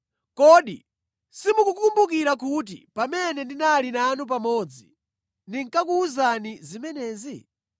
Kodi simukukumbukira kuti pamene ndinali nanu pamodzi ndinkakuwuzani zimenezi?